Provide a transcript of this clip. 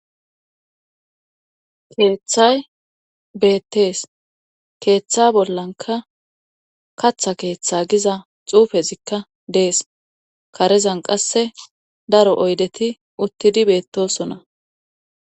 Keeththay beettees keeththa bollanka katha keeththa giza xuufezikka dees karezan qasse daro oydeti uttidi beettosona.